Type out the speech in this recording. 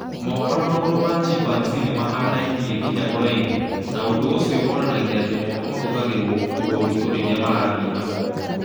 Moko na magũrũ ma chimpanzii nĩ mahanaine nginya ũraihu, na ũndũ ũcio wonanagia atĩ moko mahũthagĩrũo gũkuua ũritũ rĩrĩa marathiĩ na moko.